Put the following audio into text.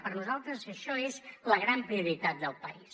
per a nosaltres això és la gran prioritat del país